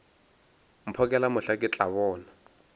mphokela mohla ke tla bona